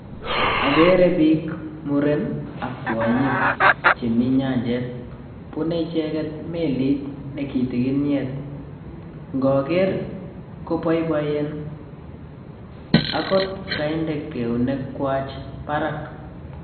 Akere biik, muren ak kwonyik chemi nyanjet, bunei icheket melit ne kitikinyet, ngoker koboiboen agot kainde keunekwach barak.